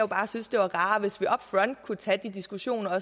bare synes det var rarere hvis vi kunne tage de diskussioner